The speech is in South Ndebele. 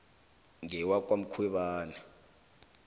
ngewakwamkhwebani